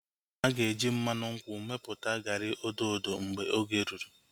Aga eji mmanụ nkwụ mepụta garị odo odo mgbe oge rụrụ